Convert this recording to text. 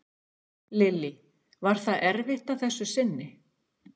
Lillý: Var það erfitt að þessu sinni?